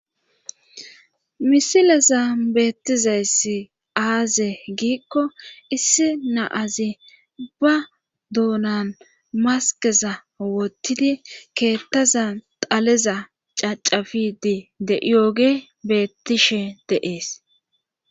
misilezan beetizayssi aazee giiko issi na'azi ba doonan maskeza wotidi keethazan xaleza cacapiide de'iyogge beetishe de'ees.